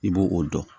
I b'o o dɔn